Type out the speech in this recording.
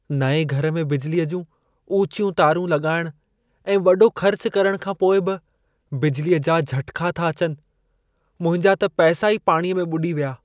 नएं घर में बिजलीअ जूं ऊचियूं तारूं लॻाइणु ऐं वॾो ख़र्चु करण खां पोइ बि बिजलीअ जा झटिका था अचनि। मुंहिंजा त पैसा ई पाणीअ में ॿुॾी विया।